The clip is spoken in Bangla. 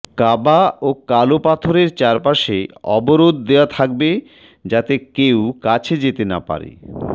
কাবা ও কালো পাথরের চারপাশে অবরোধ দেওয়া থাকবে যাতে কেউ কাছে যেতে না পারে